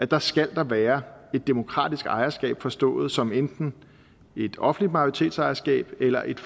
der skal der være et demokratisk ejerskab forstået som enten et offentligt majoritetsejerskab eller et